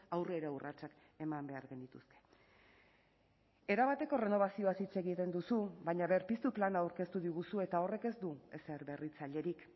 aurrera urratsak eman behar genituzke erabateko errenobazioaz hitz egiten duzu baina berpiztu plana aurkeztu diguzu eta horrek ez du ezer berritzailerik